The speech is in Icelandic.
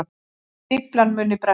Stíflan muni bresta